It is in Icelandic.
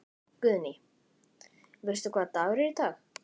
Guðný: Veistu hvaða dagur er í dag?